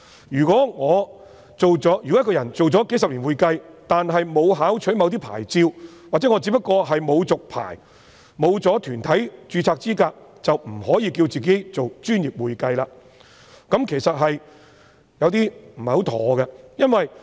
如果一個人從事會計工作數十年，但沒有考取某些牌照，或他只不過是沒有續牌，沒有團體註冊資格，便不可以自稱為"專業會計"，這其實有點不妥。